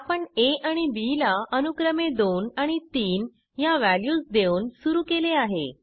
आपण आ आणि बी ला अनुक्रमे दोन आणि तीन ह्या व्हॅल्यूज देऊन सुरू केले आहे